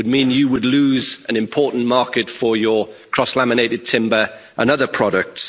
It would mean you would lose an important market for your cross-laminated timber and other products.